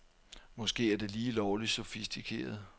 Måske er det lige lovligt sofistikeret.